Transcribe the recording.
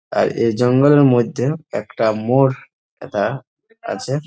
আর এ জঙ্গলের মইধ্যে একটা মোর হেতা আছে।